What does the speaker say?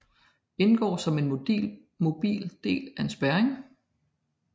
Indgår som en mobil del af en spærring